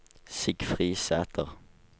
Sigfrid Sæter